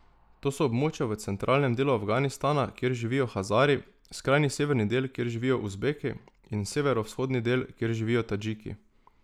To so območja v centralnem delu Afganistana, kjer živijo Hazari, skrajni severni del, kjer živijo Uzbeki, in severovzhodni del, kjer živijo Tadžiki.